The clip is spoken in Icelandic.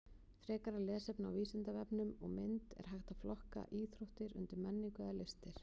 Frekara lesefni á Vísindavefnum og mynd Er hægt að flokka íþróttir undir menningu eða listir?